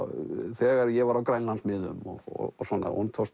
þegar ég var á Grænlandsmiðum og svona honum tókst